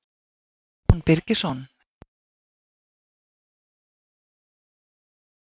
Símon Birgisson: Myndir þú frekar vilja sjá tölvuver í staðinn fyrir álver?